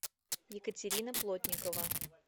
екатерина плотникова